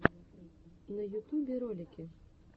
на ютюбе ролики